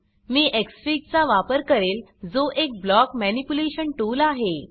मी xfig चा वापर करेल जो एक ब्लाक मनिप्युलेशन टूल आहे